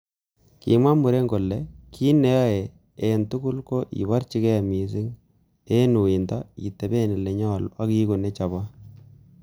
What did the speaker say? Kimwa muren kole,"Kit neiyoe en tugul, ko iborchige missing en uindo iteben ele nyolu ak iigu nechobot."